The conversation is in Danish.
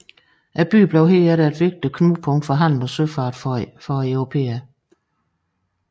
Byen blev herefter et vigtigt knudepunkt for handel og søfart for europæere